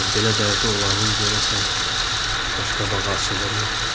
Belə dərdi olanın görəsən qaşqabağı açılırmı?